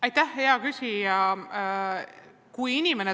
Aitäh, hea küsija!